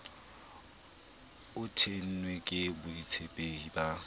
o tennwe ke boitshepi ba